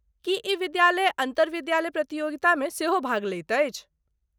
की ई विद्यालय अन्तरविद्यालय प्रतियोगितामे सेहो भाग लैत अछि।